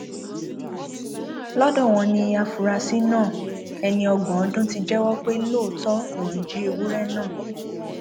lọdọ wọn ni àfúrásì náà ẹni ọgbọn ọdún ti jẹwọ pé lóòótọ lòún jí ewúrẹ náà